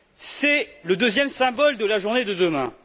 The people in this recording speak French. C'est le deuxième symbole de la journée de demain.